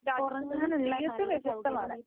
രാജ്യത്തു നിന്നും തീർത്തും വ്യത്യസ്തമാണ്.